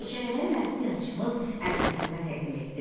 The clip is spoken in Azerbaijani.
Hekayələri mərhum yazıçımız Əbülhəsənə təqdim etdim.